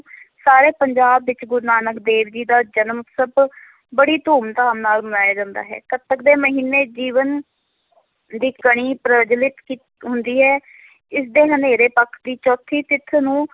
ਸਾਰੇ ਪੰਜਾਬ ਵਿੱਚ, ਗੁਰੂ ਨਾਨਕ ਦੇਵ ਜੀ ਦਾ ਜਨਮ ਉਤਸਵ ਬੜੀ ਧੂਮ ਧਾਮ ਨਾਲ ਮਨਾਇਆ ਜਾਂਦਾ ਹੈ, ਕੱਤਕ ਦੇ ਮਹੀਨੇ ਜੀਵਨ ਦੀ ਕਣੀ ਪ੍ਰਜਵੱਲਿਤ ਕੀ ਹੁੰਦੀ ਹੈ ਇਸ ਦੇ ਹਨੇਰੇ ਪੱਖ ਦੀ ਚੌਥੀ ਤਿਥ ਨੂੰ